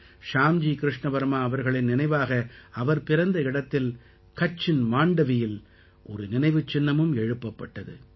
ஷ்யாம்ஜி கிருஷ்ண வர்மா அவர்களின் நினைவாக அவர் பிறந்த இடத்தில் கட்சின் மாண்டவியில் ஒரு நினைவுச் சின்னமும் எழுப்பப்பட்டது